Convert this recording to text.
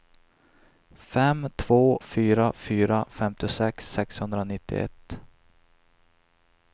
fem två fyra fyra femtiosex sexhundranittioett